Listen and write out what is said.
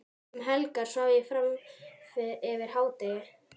Um helgar svaf ég fram yfir hádegi.